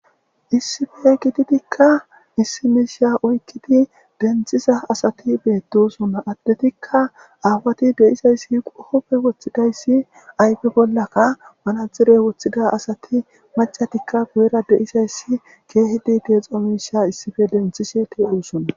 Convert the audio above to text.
issife gitidikka issi miisha oykkidi denthiza asati beettosonna addetikka aawati de7izayssi qohopfe woththidayssi ayfe bollaka manadzirey woththida asati macatikka gu7era de7izayssi keehidi deexo miisha issife lenthishe te7osona